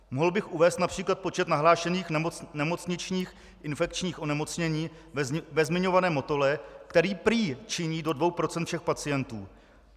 Mohl bych uvést například počet nahlášených nemocničních infekčních onemocnění ve zmiňovaném Motole, který prý činí do 2 % všech pacientů.